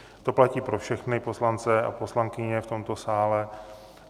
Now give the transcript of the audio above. To platí pro všechny poslance a poslankyně v tomto sále.